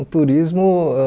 O turismo